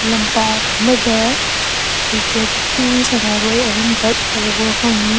ꯂꯝꯄꯥꯛ ꯑꯃꯗ ꯀ꯭ꯔꯤꯀꯦꯠ ꯀꯤ ꯁꯥꯟꯅꯔꯣꯏ ꯑꯍꯨꯝꯈꯛ ꯎꯕ ꯐꯪꯉꯤ꯫